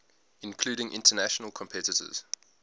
including international competitors